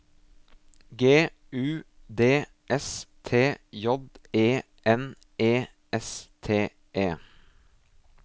G U D S T J E N E S T E